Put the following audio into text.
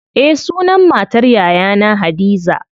Eh sunan matar yayana hadiza.